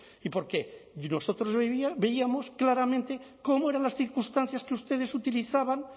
y porqué y nosotros veíamos claramente cómo eran las circunstancias que ustedes utilizaban